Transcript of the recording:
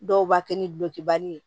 Dɔw b'a kɛ ni gulɔkibali ye